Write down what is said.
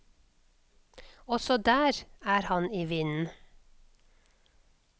Også der er han i vinden.